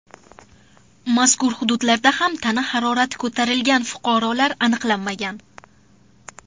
Mazkur punktlarda ham tana harorati ko‘tarilgan fuqarolar aniqlanmagan.